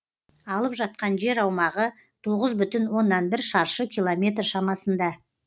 алып жатқан жер аумағы тоғыз бүтін оннан бір шаршы километр шамасында